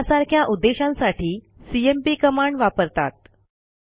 यासारख्या उद्देशांसाठी CMP command वापरतात